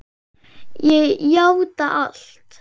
Ég játa allt